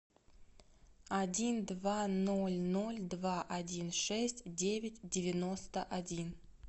один два ноль ноль два один шесть девять девяносто один